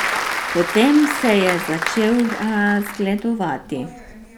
Potem se je začel razgledovati.